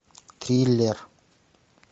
триллер